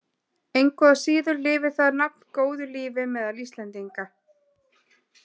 Engu að síður lifir það nafn góðu lífi meðal Íslendinga.